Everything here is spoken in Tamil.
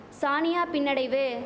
சானியா பின்னடைவு